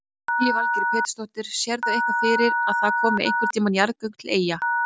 Lillý Valgerður Pétursdóttir: Sérðu eitthvað fyrir að það komi einhvern tíman jarðgöng til Eyja?